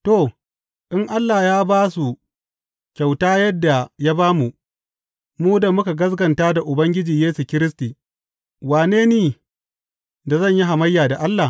To, in Allah ya ba su kyauta yadda ya ba mu, mu da muka gaskata da Ubangiji Yesu Kiristi, wane ni da zan yi hamayya da Allah?